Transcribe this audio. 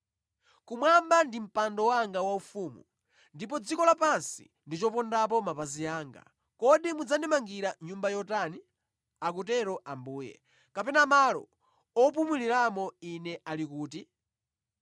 “ ‘Kumwamba ndi mpando wanga waufumu, ndipo dziko lapansi ndi chopondapo mapazi anga. Kodi mudzandimangira nyumba yotani? Akutero Ambuye. Kapena malo opumuliramo Ine ali kuti?